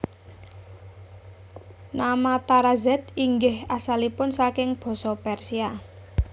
Nama Tarazed inggih asalipun saking basa Persia